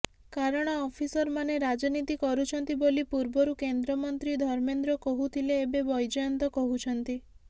କାରଣ ଅଫିସର ମାନେ ରାଜନୀତି କରୁଛନ୍ତି ବୋଲି ପୂର୍ବରୁ କେନ୍ଦ୍ରମନ୍ତ୍ରୀ ଧର୍ମେନ୍ଦ୍ର କହୁଥିଲେ ଏବେ ବୈଜୟନ୍ତ କହୁଛନ୍ତି